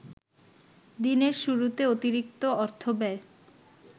দিনের শুরুতে অতিরিক্ত অর্থব্যয়